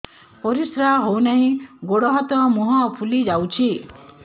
ପରିସ୍ରା ହଉ ନାହିଁ ଗୋଡ଼ ହାତ ମୁହଁ ଫୁଲି ଯାଉଛି